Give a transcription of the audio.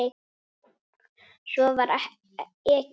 Svo var ekið.